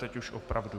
Teď už opravdu.